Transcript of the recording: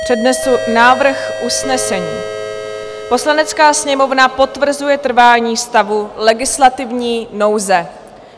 Přednesu návrh usnesení: "Poslanecká sněmovna potvrzuje trvání stavu legislativní nouze."